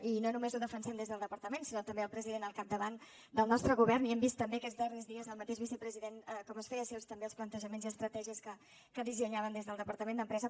i no només ho defensem des del departament sinó també el president al capdavant del nostre govern i hem vist també aquests darrers dies el mateix vicepresident com es feia seus també els plantejaments i estratègies que dissenyàvem des del departament d’empresa